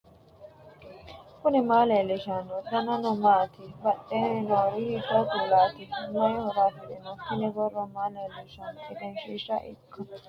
knuni maa leellishanno ? danano maati ? badheenni noori hiitto kuulaati ? mayi horo afirino ? tini boro maa leellishshannote egenshshiisha ikka dandaannoikka ?